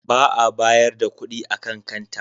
Ba a bayar da kuɗi a kan kanta.